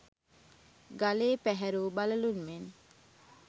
ගලේ පැහැරූ බළලුන් මෙන්